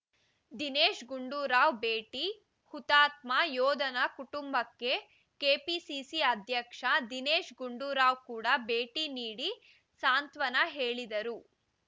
ದಿನೇಶ್‌ ಗುಂಡೂರಾವ್‌ ಭೇಟಿ ಹುತಾತ್ಮ ಯೋಧನ ಕುಟುಂಬಕ್ಕೆ ಕೆಪಿಸಿಸಿ ಅಧ್ಯಕ್ಷ ದಿನೇಶ್‌ ಗುಂಡೂರಾವ್‌ ಕೂಡ ಭೇಟಿ ನೀಡಿ ಸಾಂತ್ವನ ಹೇಳಿದರು